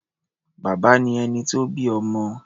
Bàbá ni ẹni tó bí ọmọ.